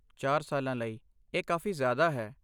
ਚਾਰ ਸਾਲਾਂ ਲਈ, ਇਹ ਕਾਫ਼ੀ ਜ਼ਿਆਦਾ ਹੈ